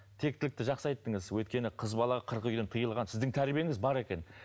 тектілікті жақсы айттыңыз өйткені қыз бала қырық үйден тыйылған сіздің тәрбиеңіз бар екен